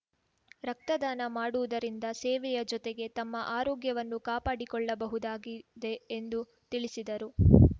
ರಕ್ತದಾನ ಮಾಡುವುದರಿಂದ ಸೇವೆಯ ಜೊತೆಗೆ ತಮ್ಮ ಆರೋಗ್ಯವನ್ನು ಕಾಪಾಡಿಕೊಳ್ಳಬಹುದಾಗಿದೆ ಎಂದು ತಿಳಿಸಿದರು